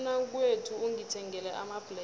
umnakwethu ungithengele amabhlere